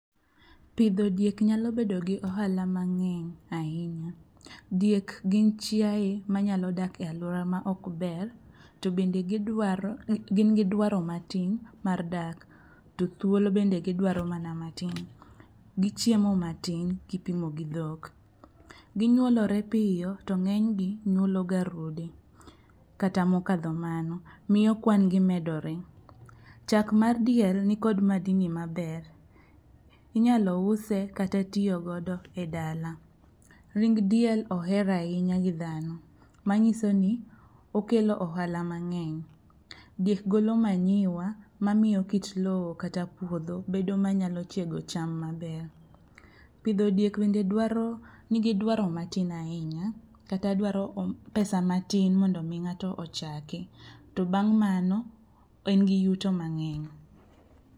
Pidho diek nyalo bedo gi ohala mangény ahinya. Diek gin chiae manyalo dak e alwora ma ok ber, to bende gidwaro, gin gi dwaro matin mar dak. To thuolo bende gidwaro mana matin. Gichiemo matin kipimo gi dhok. Ginyuolore piyo to ngénygi nyuolo ga rude kata mokadho mano. Miyo kwan gi medore. Chak mar diel nikod madini maber. Inyalo use, kata tiyo godo e dala. Ring' diel oher ahinya gi dhano, manyiso ni okelo ohala mangény. Diek golo manyiwa, mamiyo kit lowo kata puodho bedo manyalo chiego cham maber. Pidho diek bende dwaro, nigi dwaro matin ahinya, kata dwaro pesa matin mondo omi ngáto ochako. To bang' mano en gi yuto mangény.